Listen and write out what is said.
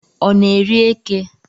Ọ na eri eke?